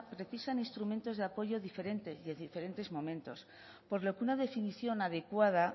precisan instrumentos de apoyo diferentes y en diferentes momentos por lo que una definición adecuada